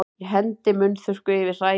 Ég hendi munnþurrku yfir hræið.